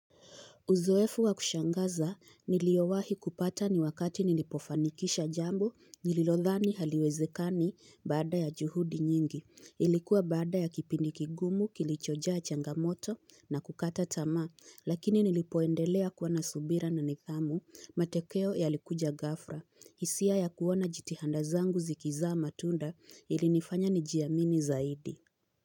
Uzoefu wa kushangaza niliowahi kupata ni wakati nilipofanikisha jambo nililodhani haliwezekani baada ya juhudi nyingi. Ilikuwa baada ya kipindi kigumu kilichojaa changamoto na kukata tamaa lakini nilipoendelea kuwa na subira na nidhamu matokeo yalikuja ghafra. Hisia ya kuona jitihanda zangu zikizaa matunda ilinifanya nijiamini zaidi.